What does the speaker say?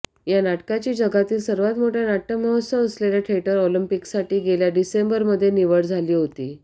या नाटकाची जगातील सर्वांत मोठा नाट्यमहोत्सव असलेल्या थिएटर ऑलिम्पिकसाठी गेल्या डिसेंबरमध्ये निवड झाली होती